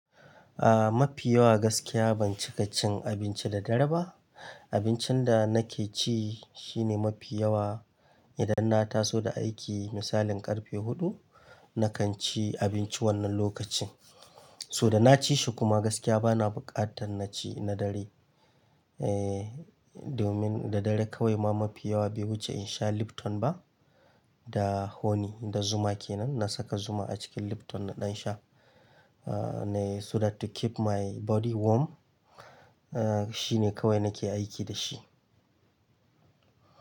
Ah, mafi yawa gaskiya ban cika cin abinci da dare ba. Abincin da nake ci shine mafi yawa, idan na taso da aiki misalin ƙarfe huɗu, na kan ci abinci wannan lokacin. So da na ci shi kuma gaskiya bana buƙatar na ci na dare. Eh, domin da dare kawai ma mafi yawa bai wuce in sha Lipton ba da honey da zuma ke nan. Na saka zuma a cikin Lipton na ɗan sha. Ah, ne so that to keep my body warm. Ah, shi ne kawai nake aiki da shi.